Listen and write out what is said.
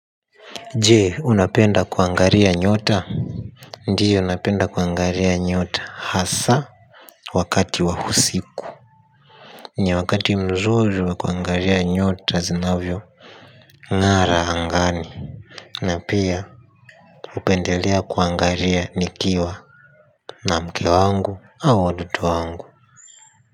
Je unapenda kuangaria nyota. Ndiyo napenda kuangaria nyota hasa wakati wahusiku. Ni wakati mzuri wa kuangaria nyota zinavyo ng'ara hangani. Na pia hupendelea kuangaria nikiwa na mke wangu au watoto wangu.